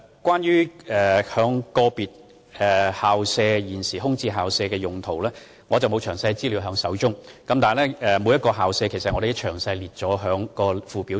關於個別空置校舍用地的情況，我手邊沒有詳細資料，但我們已把每間空置校舍列入相關附表中。